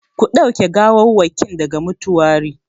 Ku ɗauke gawawwakin daga mutuwari!